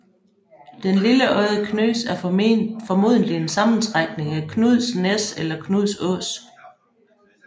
Den lille odde Knøs er formodentlig en sammentrækning af Knuds Næs eller Knuds Ås